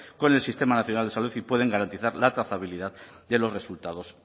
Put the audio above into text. con el sistema nacional de salud y pueden garantizar la trazabilidad de los resultados